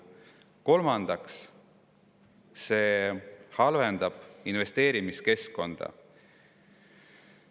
Kolmandaks, see halvendab investeerimiskeskkonda.